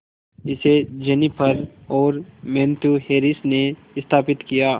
इसे जेनिफर और Matthew Harris ने स्थापित किया